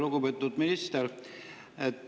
Lugupeetud minister!